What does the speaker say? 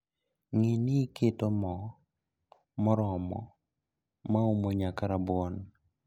Ng'ii ni iketo moo moromo maumo nyaka rabuon